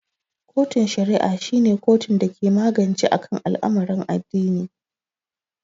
kotun shari'a shi ne kotun dake magance akan al'amarin addini.